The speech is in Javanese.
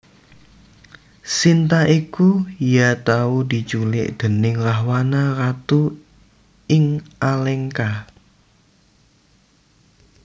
Sinta iku ya tau diculik déning Rahwana Ratu ing Alengka